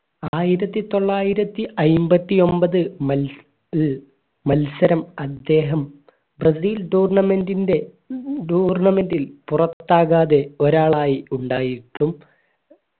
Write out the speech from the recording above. ആയിരത്തിത്തൊള്ളായിരത്തി അയ്മ്പത്തി ഒമ്പത് മത്സ മത്സരം അദ്ദേഹം ബ്രസീൽ tournament ന്റെ tournament ൽ പുറത്താകാതെ ഒരാളായി ഉണ്ടായിരിന്നു